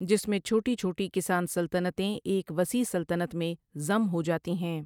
جس میں چھوٹی چھوٹی کسان سلطنتیں ایک وسیع سلطنت میں ضم ہوجاتی ہیں۔